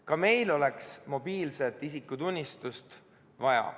Ka meil oleks mobiilset isikutunnistust vaja.